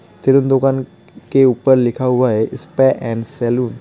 चारिन दुकान के ऊपर लिखा हुआ है सपा एंड सैलून